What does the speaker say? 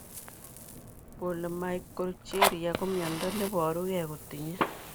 Polymicrogyria ko mnyondo neboru gee kotinye